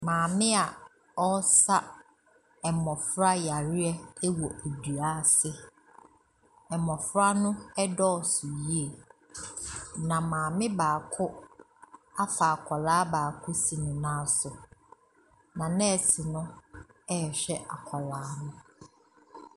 Maame a ɔresa mmɔfra yareɛ wɔ dua ase, mmɔfra no dɔɔ so yie, na maame baako afa akwadaa baako si ne nan so, na nɛɛse no ɛrehwɛ akwadaa no.